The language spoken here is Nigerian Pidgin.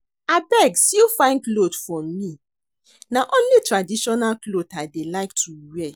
Abeg sew fine cloth for me na only traditional cloth I dey like to wear